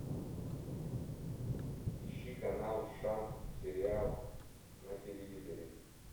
ищи канал шант сериал на телевизоре